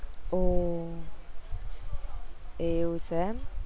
ઓહ એવું છે એમ